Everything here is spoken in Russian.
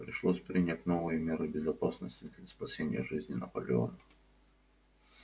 пришлось принять новые меры безопасности для спасения жизни наполеона